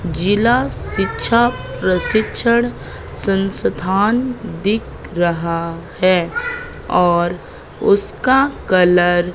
जिला शिक्षा प्रशिक्षण संस्थान दिख रहा है और उसका कलर --